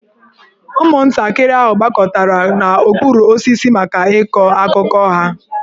Ụmụntakịrị ahụ gbakọtara n'okpuru osisi maka ịkọ akụkọ ha.